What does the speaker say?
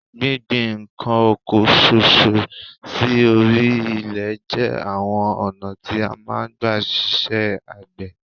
Gbíngbin nǹkan oko kan ṣoṣo sí orí ilẹ̀ jẹ́ àwọn ọ̀nà tí a máa ń gba ṣe iṣẹ́ àgbẹ̀